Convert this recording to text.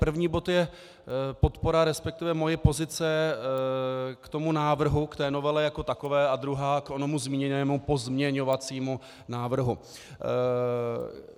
První bod je podpora, respektive moje pozice k tomu návrhu, k té novele jako takové a druhá k onomu zmíněnému pozměňovacímu návrhu.